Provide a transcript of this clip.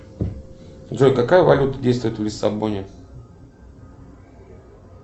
джой какая валюта действует в лиссабоне